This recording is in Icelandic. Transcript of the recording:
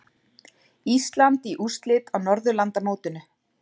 Ísland í úrslit á Norðurlandamótinu